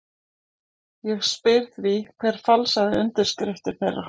Ég spyr því: Hver falsaði undirskriftir þeirra?